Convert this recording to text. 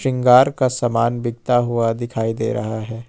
सिंगार का सामान बिकता हुआ दिखाई दे रहा है।